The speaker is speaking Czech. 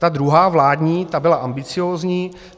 Ta druhá, vládní, ta byla ambiciózní.